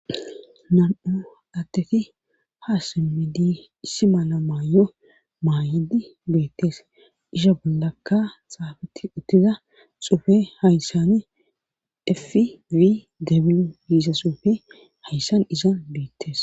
Nam7u atteti ha semmedi issi mala maayo maayidi beettes isho bollakka xaafeti uttiza xufe hayssani efii dabin yiisa suufe hayssan isan biittes.